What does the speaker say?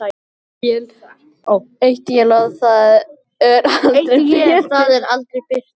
Eitt él það er aldrei birtir.